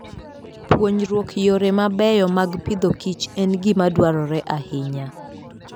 Puonjruok yore mabeyo mag pidhokich en gima dwarore ahinya.